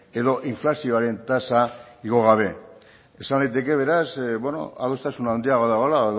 edo inflazioaren tasa igo gabe esan daiteke beraz adostasun handiagoa dagoela